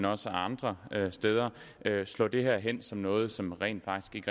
og også andre steder slår det hen som noget som rent faktisk